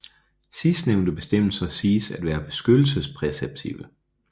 Sidstnævnte bestemmelser siges at være beskyttelsespræceptive